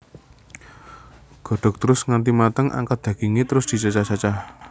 Godhog terus nganti mateng angkat dagingé terus dicacah cacah